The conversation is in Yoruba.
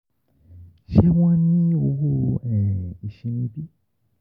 Ṣe wọn ni owo iṣimi bi?